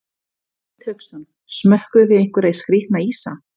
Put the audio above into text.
Hafsteinn Hauksson: Smökkuðuð þið einhverja skrítna ísa?